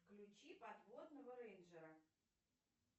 включи подводного рейнджера